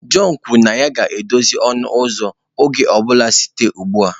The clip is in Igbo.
John kwuru na ya ga-edozi ọnụ ụzọ oge ọ bụla site ugbu a